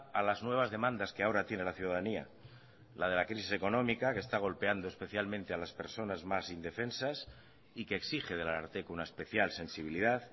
a las nuevas demandas que ahora tiene la ciudadanía la de la crisis económica que está golpeando especialmente a las personas más indefensas y que exige del ararteko una especial sensibilidad